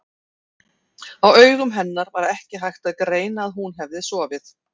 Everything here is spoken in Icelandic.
Á augum hennar var ekki hægt að greina að hún hefði sofið.